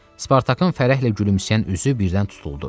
Spartakın fərəhlə gülümsəyən üzü birdən tutuldu.